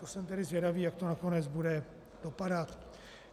To jsem tedy zvědavý, jak to nakonec bude vypadat.